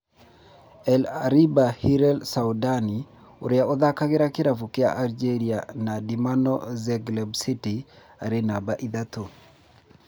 El Arabi Hillel Soudani ũria ũthakagira kĩravũkĩa Algeria na Dinamo Zagreb City arĩ numba ithatu